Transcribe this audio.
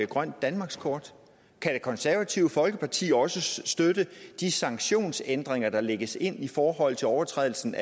grønt danmarkskort kan det konservative folkeparti også støtte de sanktionsændringer der lægges ind i forhold til overtrædelsen